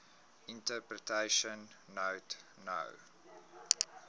interpretation note no